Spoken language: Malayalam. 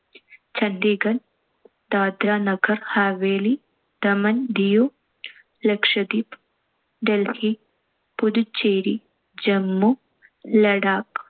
ചണ്ഢീഗഡ്‍, ദാദ്ര നഗർ ഹവേലി, ദമൻ ദിയു, ലക്ഷദ്വീപ്‌, ഡൽഹി, പുതുച്ചേരി, ജമ്മു, ലഡാക്ക്.